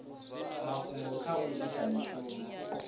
mafhungo kha u ita mishumo